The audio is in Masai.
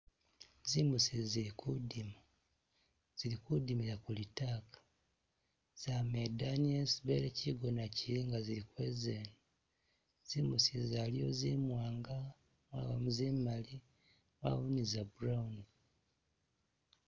Tsimbusi zili kudima, zili kudimila ku litaka, zama idani yesi bele kyigona kyili nga zili kweza ino, zimbusi izi aliwo zi mwanga, wabamo zimali, wabawo niza brown.